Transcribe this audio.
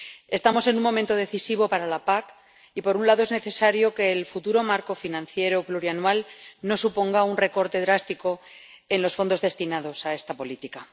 Estamos en un momento decisivo para la PAC y, por un lado, es necesario que el futuro marco financiero plurianual no suponga un recorte drástico en los fondos destinados a esta política.